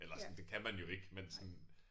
Eller sådan det kan man jo ikke men sådan